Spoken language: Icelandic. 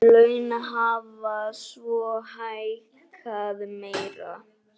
Laun hafa svo hækkað meira.